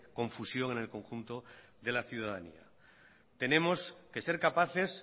confusión del conjunto de la ciudadanía tenemos que ser capaces